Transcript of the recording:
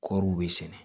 Kɔriw be sɛnɛ